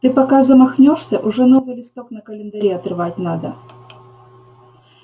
ты пока замахнёшься уже новый листок на календаре отрывать надо